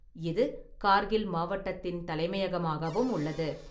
இது கார்கில் மாவட்டத்தின் தலைமையகமாகவும் உள்ளது.